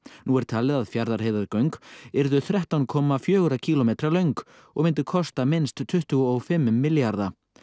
nú er talið að Fjarðarheiðargöng yrðu þrettán komma fjóra kílómetra löng og myndu kosta minnst tuttugu og fimm milljarða